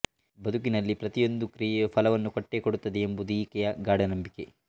ಬದುಕಿನಲ್ಲಿ ಪ್ರತಿಯೊಂದು ಕ್ರಿಯೆಯೂ ಫಲವನ್ನು ಕೊಟ್ಟೇ ಕೊಡುತ್ತದೆ ಎಂಬುದು ಈಕೆಯ ಗಾಢ ನಂಬಿಕೆ